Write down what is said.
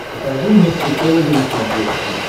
покажи мне психологи на смотрешке